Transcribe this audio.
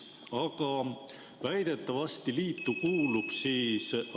Aga väidetavasti kuulub liitu ...